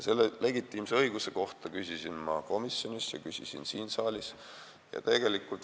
Selle legitiimse põhjuse kohta küsisin ma ka komisjonis ja siin saalis.